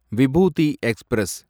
விபூதி express